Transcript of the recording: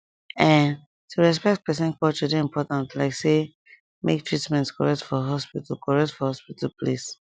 ehn to respect person culture dey important like say make treatment correct for hospital correct for hospital place